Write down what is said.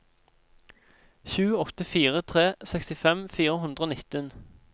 sju åtte fire tre sekstifem fire hundre og nitten